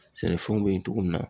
Sɛnɛfɛnw be yen togo min na